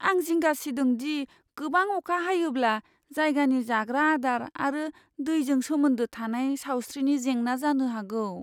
आं जिंगा सिदों दि गोबां अखा हायोब्ला जायगानि जाग्रा आदार आरो दैजों सोमोन्दो थानाय सावस्रिनि जेंना जानो हागौ।